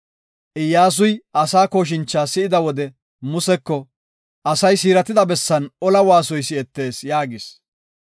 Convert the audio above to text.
Iyyasuy asaa kooshincha si7ida wode, Museko, “Asay siiratida bessan ola waasoy si7etees” yaagis.